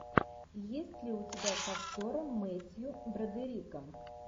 есть ли у тебя с актером метью бродериком